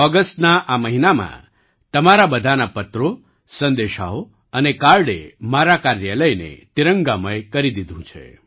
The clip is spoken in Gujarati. ઑગસ્ટના આ મહિનામાં તમારા બધાના પત્રો સંદેશાઓ અને કાર્ડે મારા કાર્યાલયને તિરંગામય કરી દીધું છે